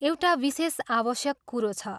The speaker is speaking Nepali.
एउटा विशेष आवश्यक कुरो छ।